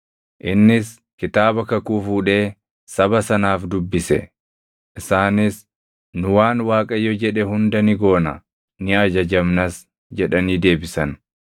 Innis kitaaba kakuu fuudhee saba sanaaf dubbise. Isaanis, “Nu waan Waaqayyo jedhe hunda ni goona; ni ajajamnas” jedhanii deebisan.